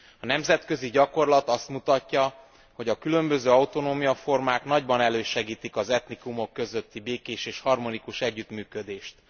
A nemzetközi gyakorlat azt mutatja, hogy a különböző autonómiaformák nagyban elősegítik az etnikumok közötti békés és harmonikus együttműködést.